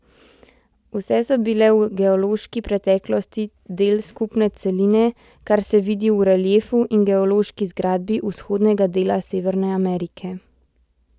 Vse so bile v geološki preteklosti del skupne celine, kar se vidi v reliefu in geološki zgradbi vzhodnega dela Severne Amerike.